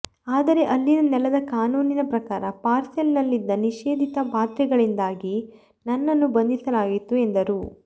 ಆದರೆ ಅಲ್ಲಿನ ನೆಲದ ಕಾನೂನಿನ ಪ್ರಕಾರ ಪಾರ್ಸೆಲ್ ನಲ್ಲಿದ್ದ ನಿಷೇಧಿತ ಮಾತ್ರೆಗಳಿಂದಾಗಿ ನನ್ನನ್ನು ಬಂಧಿಸಲಾಗಿತ್ತು ಎಂದರು